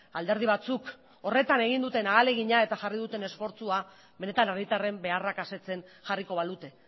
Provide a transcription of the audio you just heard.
alderdi batzuk horretan egin duten ahalegina eta jarri duten esfortzua benetan herritarren beharrak asetzen jarriko balute